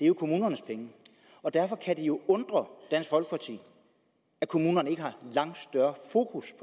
jo kommunernes penge og derfor kan det undre dansk folkeparti at kommunerne ikke har langt større fokus